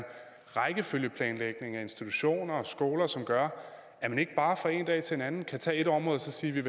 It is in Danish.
rækkefølgeplanlægning af institutioner og skoler som gør at man ikke bare fra den ene dag til den anden kan tage et område og sige at